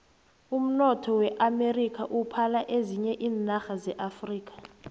umnotho weamerika uphala ezinye iinarha zeafrika